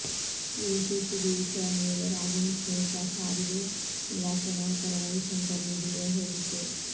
ಇವು ಸಿಸಿಬಿ ವಿಚಾರಣೆ ವೇಳೆ ರಾಗಿಣಿ ಸ್ನೇಹಿತ ಸಾರಿಗೆ ಇಲಾಖೆ ನೌಕರ ರವಿಶಂಕರ್ ನೀಡಿರುವ ಹೇಳಿಕೆ